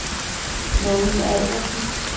Mogens Albertsen